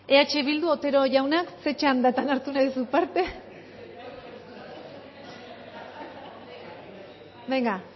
bale eh bildu otero jauna ze txandan hartu nahi duzu parte